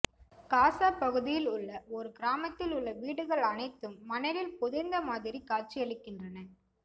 காசா பகுதியில் உள்ள ஒரு கிராமத்தில் உள்ள வீடுகள் அனைத்தும் மணலில் புதைந்த மாதிரி காட்சியளிக்கிறன